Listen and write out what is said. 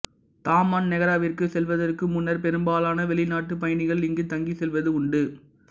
Taman நெகாராவிற்குச் செல்வதற்கு முன்னர் பெரும்பாலான வெளிநாட்டுப் பயணிகள் இங்கு தங்கிச் செல்வது உண்டு